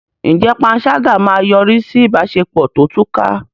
Ǹjẹ́ panṣágà máa yọrí sí ìbáṣepọ̀ tó túká?